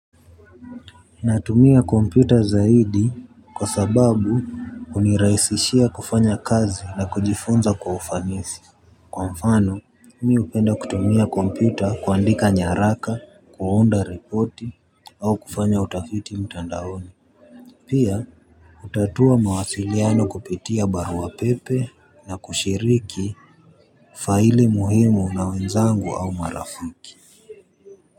Natumia kompyuta zaidi kwa sababu hunirahisishia kufanya kazi na kujifunza kwa ufanisi. Kwa mfano mimi hupenda kutumia kompyuta kuandika nyaraka, kuunda ripoti au kufanya utafiti mtandaoni. Pia hutatua mawasiliano kupitia baruapepe na kushiriki faili muhimu na wenzangu au marafiki.